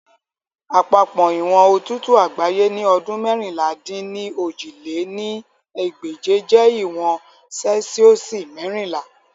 Apapọ iwọn otutu agbaye ni ọdun meérinlá-dín-ní-ojì lé ní ẹgbẹ́je jẹ iwọn Celsiosi merinla.